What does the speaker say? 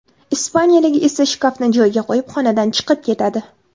Ispaniyalik esa shkafni joyiga qo‘yib, xonadan chiqib ketadi.